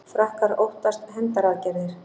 Frakkar óttast hefndaraðgerðir